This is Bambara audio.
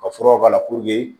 Ka furaw k'a la